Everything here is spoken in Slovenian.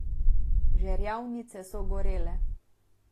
Žerjavnice so gorele.